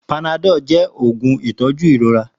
Panadol jẹ oogun itọju irora.